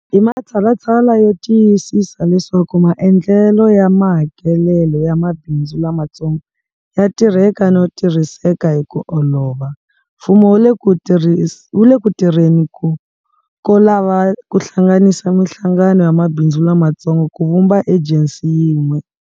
Hi matshalatshala yo tiyisisa leswaku maendlelo ya mahakelelo ya mabindzu lamatsongo ya tirheka no tirhiseka hi ku olova, mfumo wu le ku tirheni ko lava ku hlanganisa mihlangano ya mabindzu lamatsongo ku vumba ejensi yin'we.